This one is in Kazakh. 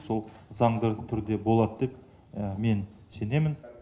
сол заңды түрде болат деп мен сенемін